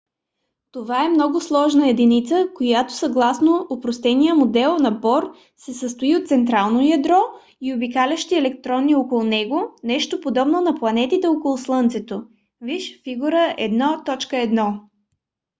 това е много сложна единица която съгласно опростения модел на бор се състои от централно ядро и обикалящи електрони около него нещо подобно на планетите около слънцето - вж. фиг. 1.1